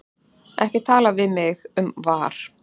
Ekki tala við mig um VAR.